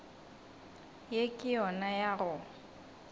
ye ke yona ya go